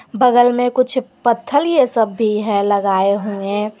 बगल में कुछ पत्थल ये सब भी है लगाए हुए।